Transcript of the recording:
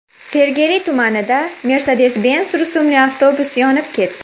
Sergeli tumanida Mercedes-Benz rusumli avtobus yonib ketdi.